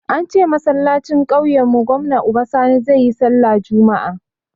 Ance a masallacin kauyen mu gwamna Uba Sani zai yi sallah juma'a